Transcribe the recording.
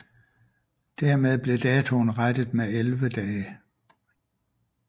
Dermed blev datoen rettet med 11 dage